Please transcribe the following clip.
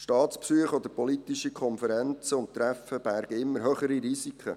Staatsbesuche oder politische Konferenzen und Treffen bergen immer höhere Risiken.